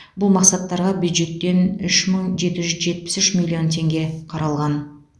бұл мақсаттарға бюджеттен үш мың жеті жүз жетпіс үш миллион теңге қаралған